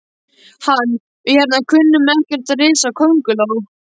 Hann. við hérna kunnum ekkert á risakónguló.